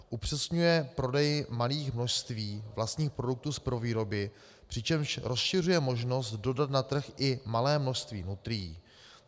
Upřesňuje prodej malých množství vlastních produktů z prvovýroby, přičemž rozšiřuje možnost dodat na trh i malé množství nutrií.